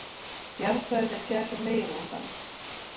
Jarðfræðileg gerð meginlandanna.